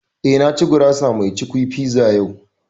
Eh, na ci gurasa mai cukwi (pizza) yau